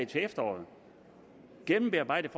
til efteråret et gennembearbejdet